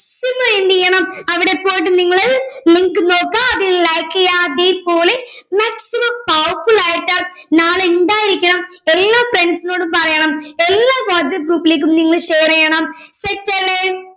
നിങ്ങള് എന്ത് ചെയ്യണം അവിടെ പോയിട്ട് നിങ്ങള് നിങ്ങൾക്ക് നോക്കാ അതിൽ like ചെയ്യുവാ അതെ പോലെ അത്രയു powerful ആയിട്ട് നാളെ ഇണ്ടായിരിക്കണം എല്ലാ friends ഇനോടും പറയണം എല്ലാ വാട്സ്ആപ് group ഇലേക്കും നിങ്ങൾ share ചെയ്യണം set അല്ലെ